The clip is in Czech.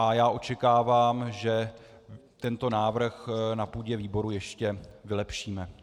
A já očekávám, že tento návrh na půdě výboru ještě vylepšíme.